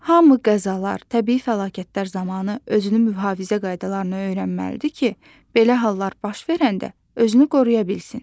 Hamı qəzalar, təbii fəlakətlər zamanı özünü mühafizə qaydalarını öyrənməlidir ki, belə hallar baş verəndə özünü qoruya bilsin.